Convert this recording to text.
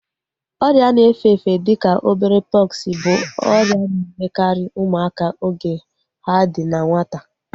Ọrịa na efe-efe dịka obere pọksi bụ ọrịa na-emekarị ụmụaka oge ha dị na nwata